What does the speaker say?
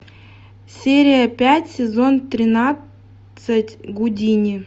серия пять сезон тринадцать гудини